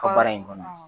Ka baara in kɔnɔ